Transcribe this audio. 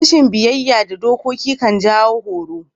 Rashin biyyaya ga dokoki kan jawon horo.